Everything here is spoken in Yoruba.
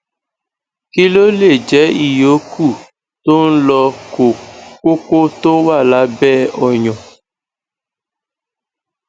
kí ló lè jẹ ìyókù tó ń lọ ko koko tó wà lábẹ oyan